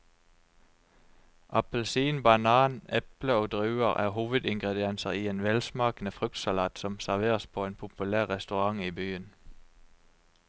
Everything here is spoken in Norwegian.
Appelsin, banan, eple og druer er hovedingredienser i en velsmakende fruktsalat som serveres på en populær restaurant i byen.